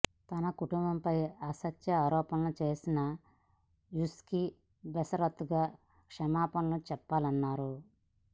తన కుటుంబంపై అసత్య ఆరోపణలు చేసిన యాష్కి బేషరతుగా క్షమాపణలు చెప్పాలన్నారు